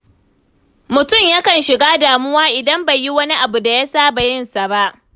Mutum yakan shiga damuwa idan bai yi wani abu da ya saba yinsa ba.